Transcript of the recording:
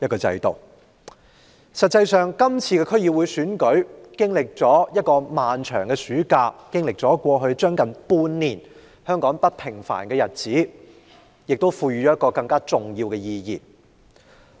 事實上，香港經歷了一個漫長的暑假，經歷了近半年不平凡的日子，區議會選舉更具重要意義。